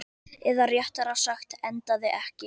Eða réttara sagt, endaði ekki.